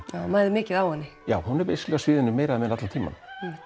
já það mæðir mikið á henni já hún er á sviðinu nær allan tímann